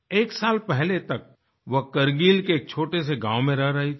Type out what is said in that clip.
एक साल पहले तक वो करगिल के एक छोटे से गाँव में रह रही थी